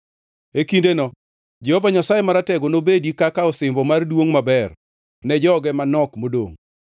E kindeno Jehova Nyasaye Maratego nobedi kaka osimbo mar duongʼ maber ne joge manok modongʼ.